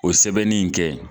O sɛbɛnni in kɛ